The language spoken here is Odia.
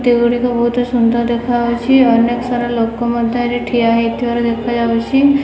ଗୁଡ଼ିକ ବହୁତ୍ ସୁନ୍ଦର୍ ଦେଖାଯାଉଛି। ଅନେକ ସାରା ଲୋକ ମଧ୍ୟ ଏଠି ଠିଆ ହେଇଥିବାର ଦେଖାଯାଉଛି।